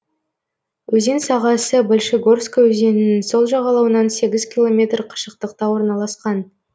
өзен сағасы большегорская өзенінің сол жағалауынан сегіз километр қашықтықта орналасқан